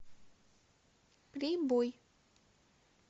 прибой